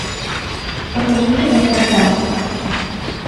покажи кино тарзан